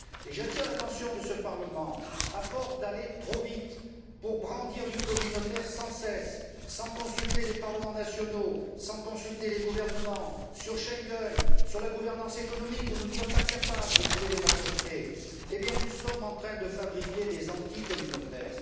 J'attire l'attention de ce Parlement à force d'aller trop vite pour brandir, sans cesse, du communautaire, sans consulter les parlements nationaux, les gouvernements, sur Schengen, sur la gouvernance économique où nous ne sommes pas capables de trouver des majorités nous sommes en train de fabriquer des anticommunautaires.